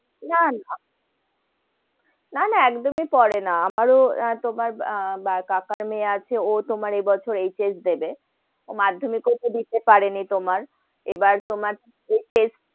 না, না, না, না একদমই পরে না, আমারও তোমার কাকার মেই আছে তোমার এই বছর HS দেবে, মাধ্যমিক ও তো দিতে পারে নি তোমার, এবার তোমার test